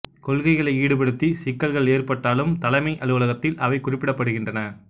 கொள்கைகளை ஈடுபடுத்தி சிக்கல்கள் ஏற்பட்டாலும் தலைமை அலுவலகத்தில் அவை குறிப்பிடப்படுகின்றன